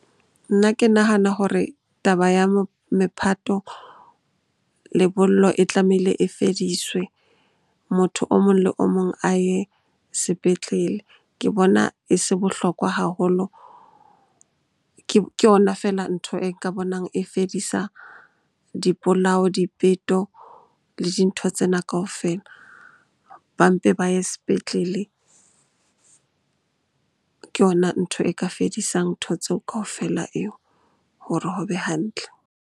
Nna ke nahana hore taba ya mephato, lebollo e tlamehile e fediswe motho o mong le o mong a ye sepetlele. Ke bona e se bohlokwa haholo, ke yona feela ntho e ka bonang e fedisa dipolao, dipeto le dintho tsena kaofela ba mpe ba ye sepetlele. Ke yona ntho e ka fedisang ntho tseo kaofela eo hore ho be hantle.